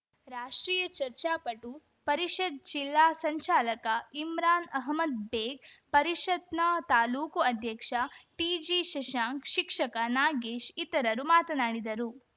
ರಾಷ್ಟ್ರೀಯ ಚರ್ಚಾಪಟು ಪರಿಷತ್‌ ಜಿಲ್ಲಾ ಸಂಜಾಲಕ ಇಮ್ರಾನ್‌ ಅಹಮದ್‌ ಬೇಗ್‌ ಪರಿಷತ್‌ನ ತಾಲೂಕು ಅಧ್ಯಕ್ಷ ಟಿಜಿಶಶಾಂಕ್ ಶಿಕ್ಷಕ ನಾಗೇಶ್‌ ಇತರರು ಮಾತನಾಡಿದರು